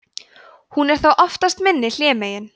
hún er þá oftast minni hlémegin